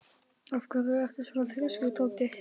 Af hverju ertu svona þrjóskur, Toddi?